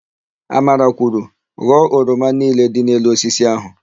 Amara kwuru, "ghọọ oroma niile dị n'elu osisi áhụ̀"!